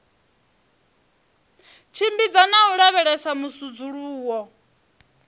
tshimbidza na u lavhelesa musudzuluwo